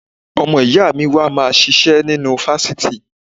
Ọmọ ìyá mi wà máa ṣiṣẹ́ nínú fáfitì.